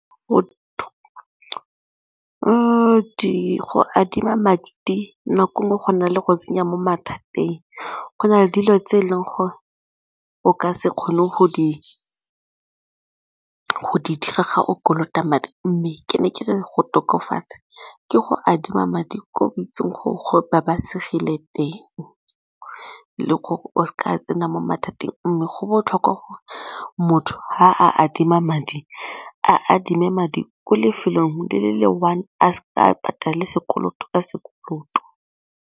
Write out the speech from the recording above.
Go adima madi nako e nngwe go na le go tsenya mo mathateng, go na le dilo tse e leng gore o ka se kgone go di dira ga o kolota madi mme ke ne ke re go tokafatsa ke go adima madi ko ba o itseng gore go ba babalesegile teng le gore o ka tsena mo mathateng mme go botlhokwa gore motho ga a adima madi a adime madi ko lefelong le le-one a seka a patale sekoloto ka sekoloto.